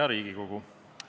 Hea Riigikogu!